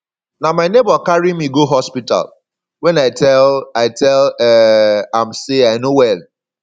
na my nebor carry me go hospital wen i tell i tell um am sey i no well